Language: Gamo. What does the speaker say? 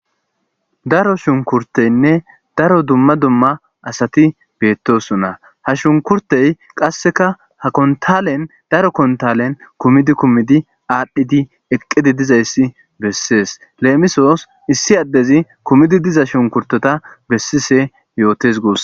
Daro shunkurteynne daro dumma dumma asati beettosona ha shunkurtey qasseka ha kontalen daro kontalen kumidi kumidi aadhdhidi eqqidi dizayssi bessees leemisoos issi addezi kumidi diza shunkurtota bessise yootes goos.